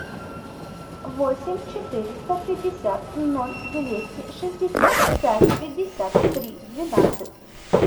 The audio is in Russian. восемь четыреста пятьдесят ноль двести шестьдесят пять пятьдесят три двенадцать